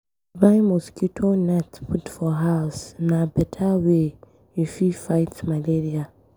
To buy mosquito net put for house, na beta way you fit fight malaria.